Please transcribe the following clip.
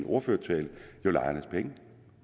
ordførertale lejernes penge